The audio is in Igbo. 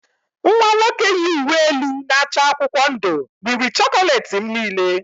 Nwa nwoke yi uwe elu na-acha akwụkwọ ndụ riri chocolate m niile